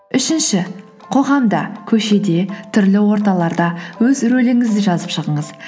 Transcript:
үшінші қоғамда көшеде түрлі орталарда өз рөліңізді жазып шығыңыз